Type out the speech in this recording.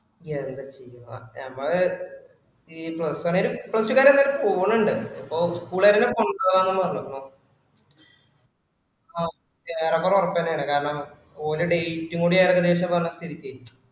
എന്താചെയ്യ അ നമ്മള് കൊറച് കാലം കൊറച് കാലം എന്തയ്യാലും പോന്നിണ്ട് അപ്പൊ school കാരെലും കൊണ്ടുപോകാന്നും പറഞ്ഞിരുന്നു ആ ഏറെ കുറെ ഒറപ്പന്നയാണ് കാരണം ഓര് date കൂടി ഏകദേശം പറഞ്ഞ സ്ഥിതിക്ക്